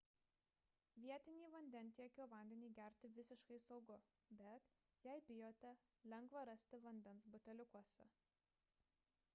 vietinį vandentiekio vandenį gerti visiškai saugu bet jei bijote lengva rasti vandens buteliukuose